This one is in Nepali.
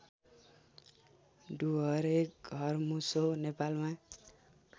डुहरे घरमुसो नेपालमा